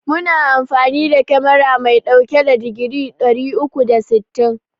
Muna amfani da kamera mai ɗauke da digiri ɗari uku da sittin.